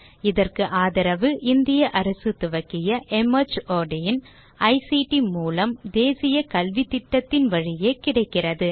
இதற்கு ஆதரவு இந்திய அரசு துவக்கிய மார்ட் இன் ஐசிடி மூலம் தேசிய கல்வித்திட்டத்தின் வழியே கிடைக்கிறது